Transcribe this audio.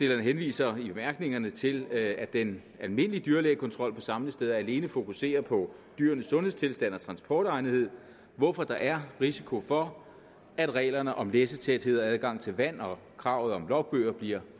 henviser i bemærkningerne til at den almindelige dyrlægekontrol på samlesteder alene fokuserer på dyrenes sundhedstilstand og transportegnethed hvorfor der er risiko for at reglerne om læssetæthed adgang til vand og kravet om logbøger bliver